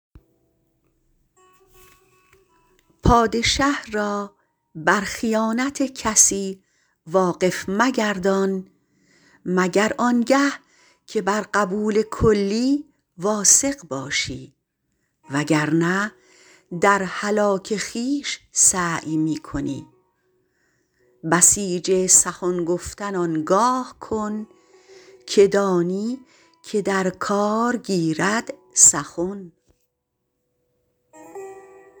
پادشه را بر خیانت کسی واقف مگردان مگر آنگه که بر قبول کلی واثق باشی و گر نه در هلاک خویش سعی می کنی بسیج سخن گفتن آنگاه کن که دانی که در کار گیرد سخن